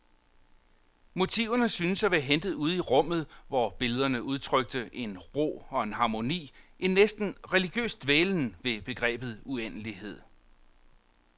Motiverne syntes at være hentet ude i rummet, hvor billederne udtrykte en ro og en harmoni, en næsten religiøs dvælen ved begrebet uendelighed.